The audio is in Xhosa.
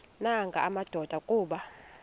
nanga madoda kuba